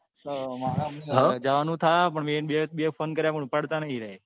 મારે પછી જવા નું થશે પણ મેં બે phone કાર્ય પણ ઉપાડતા નહી એરયાએ.